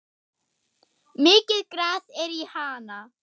Mikið gras er í Hana.